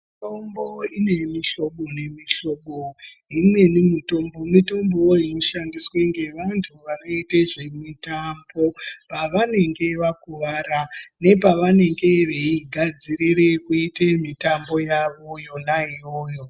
Mitombo ine muhlobo nemihlobo. Imweni mitombo, mitombo wo inoshandiswa ngevantu vanoita zvemitambo pavanenge vakuwara nepavenge veigadzirira kuita mitambo yavo yona iyoyo.